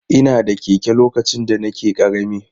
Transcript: Ina da keke lokacin da nake ƙarami.